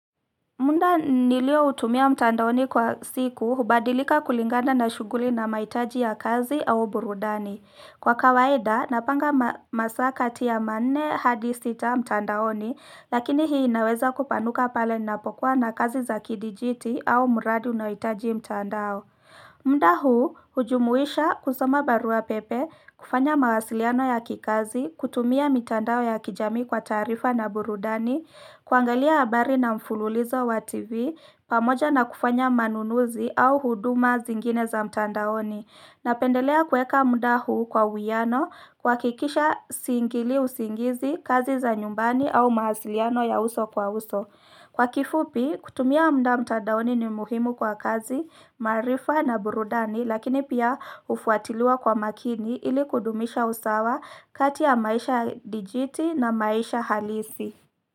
Muda nilio utumia mtandaoni kwa siku hubadilika kulingana na shuguli na maitaji ya kazi au burudani. Kwa kawaida, napanga masaa kati ya manne hadi sita mtandaoni, lakini hii inaweza kupanuka pale ninapokuwa na kazi za kidijiti au muradi unaoitaji mtandao. Muda huu hujumuisha kusoma barua pepe kufanya mawasiliano ya kikazi kutumia mitandao ya kijamii kwa taarifa na burudani kuangalia abari na mfululizo wa tv pamoja na kufanya manunuzi au huduma zingine za mtandaoni na pendelea kweka mda huu kwa uwiano kua kikisha siingilii usingizi kazi za nyumbani au mawasiliano ya uso kwa uso Kwa kifupi, kutumia mda mtadaoni ni muhimu kwa kazi, maarifa na burudani, lakini pia ufuatiliwa kwa makini ili kudumisha usawa kati ya maisha dijiti na maisha halisi.